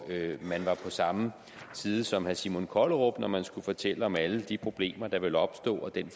man var på samme side som herre simon kollerup når man skulle fortælle om alle de problemer der ville opstå og den